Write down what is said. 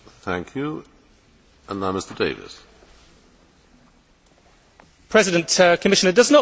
Commissioner, does not the original question demonstrate the scale of the problem you face when addressing this issue?